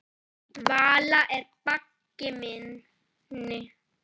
Vala er baggi minni.